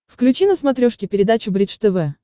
включи на смотрешке передачу бридж тв